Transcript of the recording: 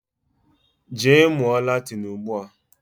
Jee mmuo Latin Ugbua